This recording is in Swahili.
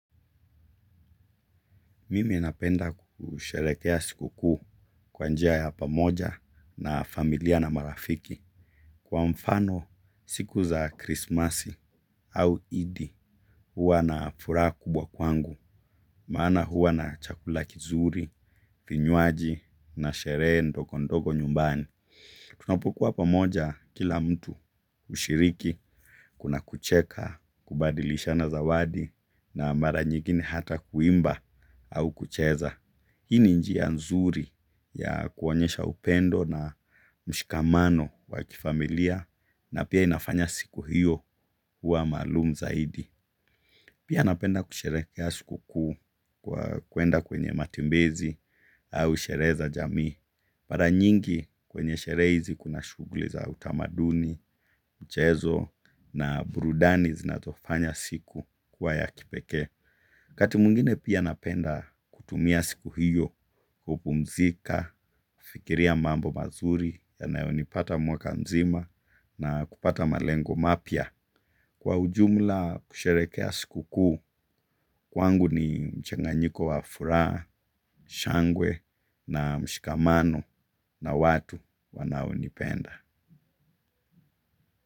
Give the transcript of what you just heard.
Mimi napenda kusherehekea sikukuu kwa njia ya pamoja na familia na marafiki. Kwa mfano, siku za krismasi au idi, huwa na furaha kubwa kwangu, maana huwa na chakula kizuri, vinyuwaji na sherehe ndogondogo nyumbani. Tunapokuwa pamoja kila mtu ushiriki kuna kucheka kubadilishana zawadi na mara nyingine ata kuimba au kucheza. Hii ni njia nzuri ya kuonyesha upendo na mshikamano wa kifamilia napia inafanya siku hiyo kuwa malum zaidi. Pia napenda kusherekea sikukuu kwa kwenda kwenye matembezi au sherehe za jamii. Mara nyingi kwenye shere hizi kuna shughuli za utamaduni, mchezo na burudani zinazofanya siku kuwa ya kipeke. Wakati mwingine pia napenda kutumia siku hiyo, kupumzika, kufikiria mambo mazuri, yanayo nipata mwaka mzima na kupata malengo mapya. Kwa ujumla kusherekea sikukuu, kwangu ni mchenganyiko wa furaha, shangwe na mshikamano na watu wanaonipenda.